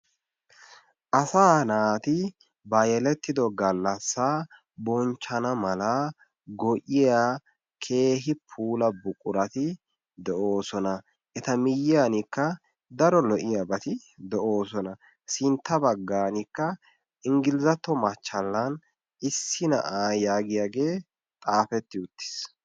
Asaa naati ba yelettido gallassa bonchchana mala go''iya keehi puula buqurati de'oosona. Eta miyyiyankka daro lo"iyaabati de'oosona. Sintta baggaankka Inggilizatto machchalan issi na'aa yaagiyaage xaafeti uttiis.